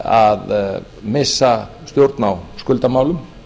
að missa stjórn á skuldamálum